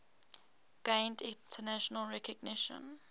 gained international recognition